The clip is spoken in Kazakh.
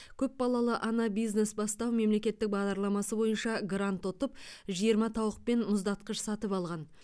көпбалалы ана бизнес бастау мемлекеттік бағдарламасы бойынша грант ұтып жиырма тауық пен мұздатқыш сатып алған